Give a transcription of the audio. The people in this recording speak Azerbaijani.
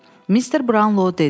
Mister Brownlow dedi.